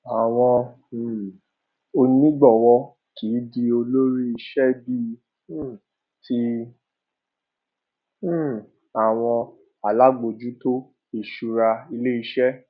àwọn um onígbòwó kìí di olórí ilé iṣé bíi um ti um àwọn alábòjútó ìṣúra ilé iṣé